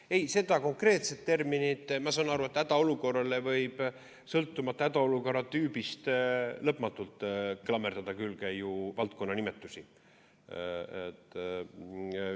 Mis puutub sellesse konkreetsesse terminisse, siis ma saan aru, et hädaolukorrale võib sõltuvalt hädaolukorra tüübist lõpmatult klammerdada külge valdkonnanimetusi.